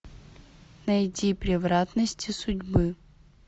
найди превратности судьбы